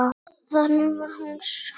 Þannig var hún sjálf.